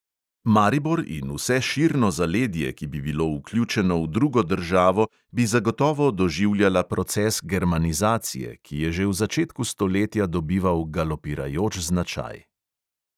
Maribor in vse širno zaledje, ki bi bilo vključeno v drugo državo, bi zagotovo doživljala proces germanizacije, ki je že v začetku stoletja dobival galopirajoč značaj.